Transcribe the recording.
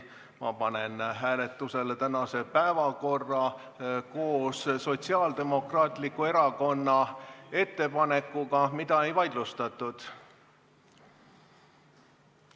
Ma panen hääletusele tänase päevakorra koos Sotsiaaldemokraatliku Erakonna ettepanekuga, mida ei vaidlustatud.